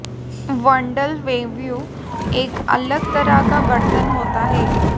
bundle bamboo एक अलग तरह का बर्तन होता है